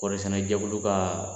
Kɔrisɛnɛ jɛkulu ka